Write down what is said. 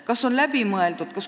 Kas see nõue on läbi mõeldud?